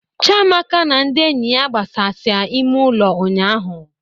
Chamaka na ndị enyi ya gbasasịa ime ụlọ ụnyahụ